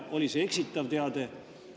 Oli see eksitav teade?